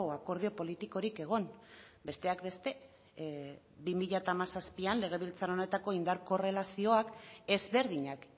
akordio politikorik egon besteak beste bi mila hamazazpian legebiltzar honetako indar korrelazioak ezberdinak